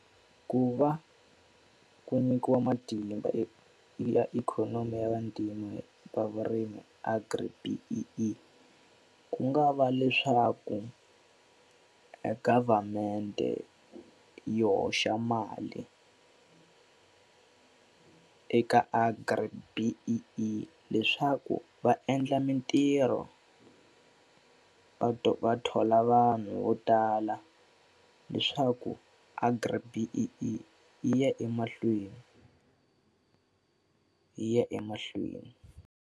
Ku va ku nyikiwa matimba ya ikhonomi ya vantima va vurimi Agri-B_E_E i ku nga va leswaku e government-e yi hoxa mali eka Agri-B_E_E leswaku va endla mitirho va va thola vanhu vo tala. Leswaku Agri-B_E_E yi ya emahlweni. Yi ya emahlweni.